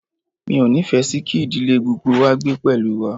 Mi ò nífẹ̀ẹ́ sì kí ìdílé gbogbo wá gbé pẹ̀lú wa.